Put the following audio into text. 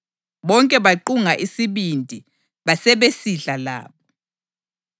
Bonke baqunga isibindi basebesidla labo.